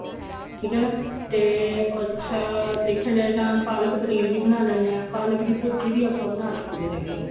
ਠੀਕ ਏ ਨਾ ਤੇ ਅੱਛਾ ਦੇਖਿਆ ਜਾਏ ਤਾਂ ਪਾਲਕ ਪਨੀਰ ਵੀ ਬਣਾ ਲੈਂਦੇ ਆ ਪਾਲਕ ਦੀ ਭੁਰਜੀ ਵੀ ਆਪਾਂ ਬਣਾ ਸਕਦੇ ਹੈਗੇ ਆ